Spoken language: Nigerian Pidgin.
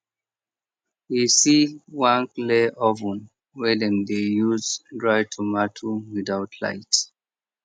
he see one clay oven wey dem dey use dry tomato without light